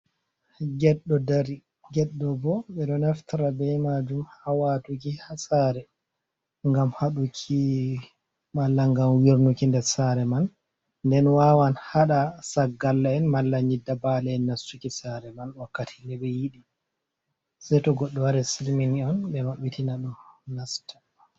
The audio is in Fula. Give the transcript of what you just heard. Get ɗo dari. Get ɗo bo ɓe ɗo naftira be majum ha watuki ha sare ngam haɗuki mala ngam wirnuki nder sare man nden wawan haɗa saggarla en mala nyidda bale en nastuki sare man wakkati neɓe yiɗi se to goɗɗo wari silmini on ɓe maɓɓitina ɗum nasta.